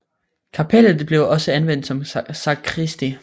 Kapellet blev også anvendt som sakristi